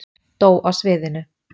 Dó á sviðinu